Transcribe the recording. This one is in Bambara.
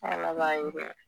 Ala b'a ye dɛ